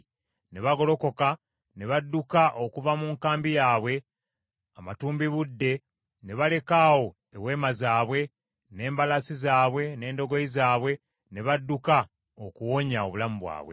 Ne bagolokoka ne badduka okuva mu nkambi yaabwe amatumbibudde ne baleka awo eweema zaabwe, n’embalaasi zaabwe n’endogoyi zaabwe, ne badduka okuwonya obulamu bwabwe.